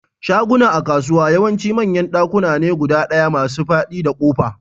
Shaguna a kasuwa yawanci manyan dakuna ne guda ɗaya masu fadi da kofa.